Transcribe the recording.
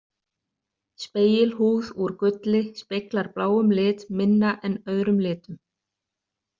Spegilhúð úr gulli speglar bláum lit minna en öðrum litum.